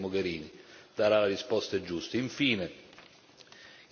Infine immigrazione, Lampedusa.